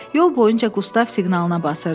Yol boyunca Qustav siqnalına basırdı.